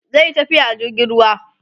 zaiyi tafiya a jirgin ruwa